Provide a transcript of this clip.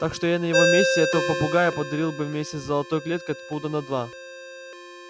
так что я на его месте этого попугая подарил бы вместе с золотой клеткой пуда на два